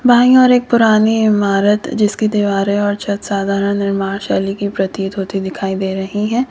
By ओर एक पुरानी इमारत जिसकी दीवार और छत साधारण निर्माण शैली की प्रतीत होती दिखाई दे रही है।